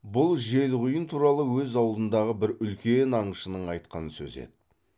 бұл желқұйын туралы өз аулындағы бір үлкен аңшының айтқан сөзі еді